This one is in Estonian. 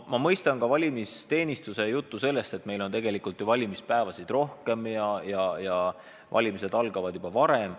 Ma mõistan valimisteenistuse juttu sellest, et tegelikult on meil ju valimispäevi rohkem ja valimised algavad juba varem.